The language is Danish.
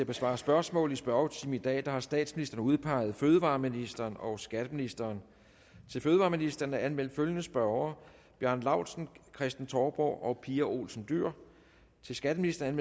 besvare spørgsmål i spørgetimen i dag har statsministeren udpeget fødevareministeren og skatteministeren til fødevareministeren er anmeldt følgende spørgere bjarne laustsen kristen touborg pia olsen dyhr til skatteministeren